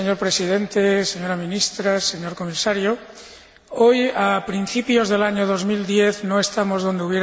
Hoy, a principios del año 2010, no estamos donde habríamos querido estar en la lucha contra el cambio climático.